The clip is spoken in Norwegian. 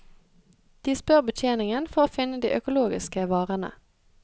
De spør betjeningen for å finne de økologiske varene.